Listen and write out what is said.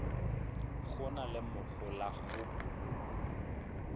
go na le mohola go